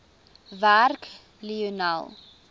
werk lionel